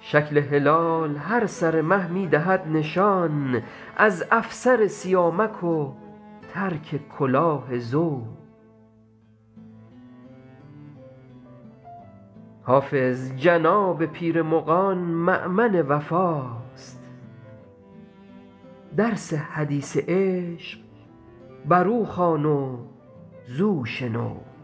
شکل هلال هر سر مه می دهد نشان از افسر سیامک و ترک کلاه زو حافظ جناب پیر مغان مأمن وفاست درس حدیث عشق بر او خوان و زو شنو